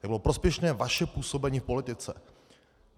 Jak bylo prospěšné vaše působení v politice.